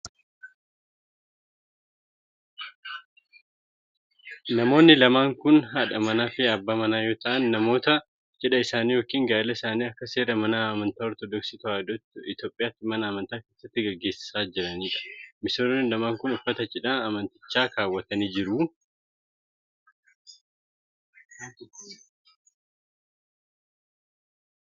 Namoonni lamaan kun, haadha manaa fi abbaa manaa yoo ta'an ,namoota cidha isaanii yokin gaa'ila isaanii akka seera mana amantaa Ortodooksii Tawaahidoo Itoophiyaatti mana amantaa keessatti gaggeessaa jiranii dha. Misirroon lamaan kun, uffata cidhaa amantichaa kaawwatanii jiru.